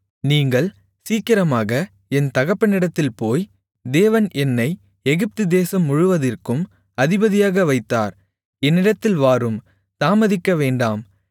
நீங்கள் சீக்கிரமாக என் தகப்பனிடத்தில் போய் தேவன் என்னை எகிப்துதேசம் முழுவதிற்கும் அதிபதியாக வைத்தார் என்னிடத்தில் வாரும் தாமதிக்க வேண்டாம்